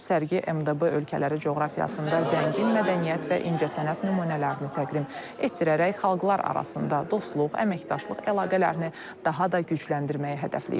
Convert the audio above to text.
Sərgi MDB ölkələri coğrafiyasında zəngin mədəniyyət və incəsənət nümunələrini təqdim etdirərək xalqlar arasında dostluq, əməkdaşlıq əlaqələrini daha da gücləndirməyi hədəfləyir.